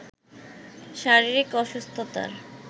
শারীরিক অসুস্থতার